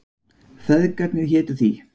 Feðgarnir hétu því.